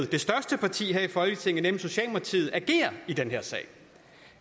det største parti her i folketinget nemlig socialdemokratiet i den her sag